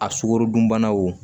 A sukaro dunbana wo